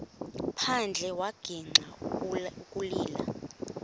phandle wagixa ukulila